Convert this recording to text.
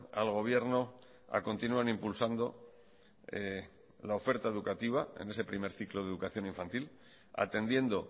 al gobierno a continuar impulsando la oferta educativa en ese primer ciclo de educación infantil atendiendo